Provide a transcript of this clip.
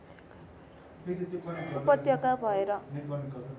उपत्यका भएर